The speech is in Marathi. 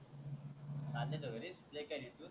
चालले का घरी इथून